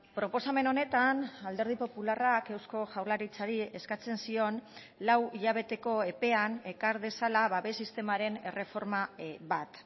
proposamen honetan alderdi popularrak eusko jaurlaritzari eskatzen zion lau hilabeteko epean ekar dezala babes sistemaren erreforma bat